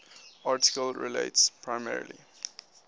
article relates primarily